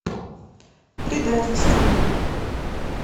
предательство